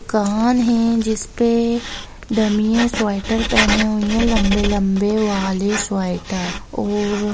दुकान है जिसपे डम्मीस स्वेटर पेहने हुए है लम्बे-लम्बे वाले स्वेटर और --